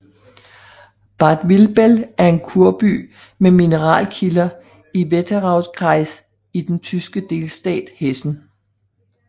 Bad Vilbel er en kurby med mineralkilder i Wetteraukreis i den tyske delstat Hessen